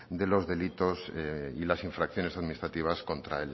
de los delitos y las infracciones administrativas contra